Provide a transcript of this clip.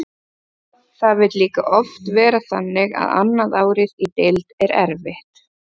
Það vill líka oft vera þannig að annað árið í deild er erfitt.